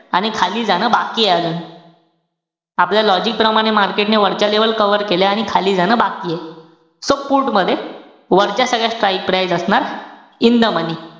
आणि खाली जाणं बाकीये अजून आपल्या logic प्रमाणे, market ने वरच्या level cover केल्या. आणि खाली जाणं बाकीये. So put मध्ये, वरच्या सगळ्या strike price असणार in the money.